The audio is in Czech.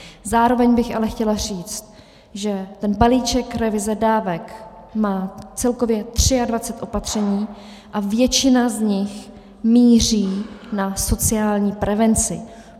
Zároveň bych ale chtěla říct, že ten balíček revize dávek má celkově 23 opatření a většina z nich míří na sociální prevenci.